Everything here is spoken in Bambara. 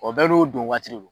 O bɛɛ n'o don waati de don.